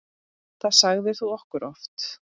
Það sagðir þú okkur oft.